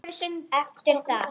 Eftir það